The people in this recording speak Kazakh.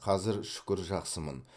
қазір шүкір жақсымын